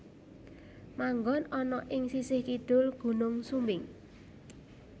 Manggon ana ing sisih kidul Gunung Sumbing